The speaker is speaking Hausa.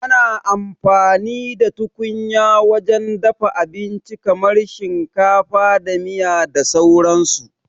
Ana amfani da tukunya wajen dafa abinci kamar shinkafa da miya da sauran su